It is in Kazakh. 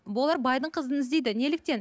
бұлар байдың қызын іздейді неліктен